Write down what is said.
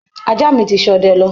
Ajá mi ti ṣọdẹ lọ